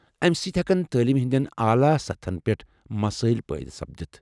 امہٕ سۭتۍ ہیکن تعلیمہ ہٕنٛدٮ۪ن اعلی سطحن پیٹھ مسایل پٲیہِ سپدتھ۔